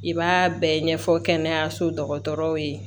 I b'a bɛɛ ɲɛfɔ kɛnɛyaso dɔgɔtɔrɔw ye